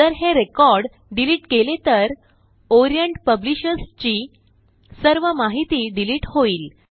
जर हे record delete केले तर ओरिएंट पब्लिशर्स ची सर्व माहिती डिलिट होईल